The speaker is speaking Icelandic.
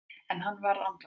En hann varð andvaka.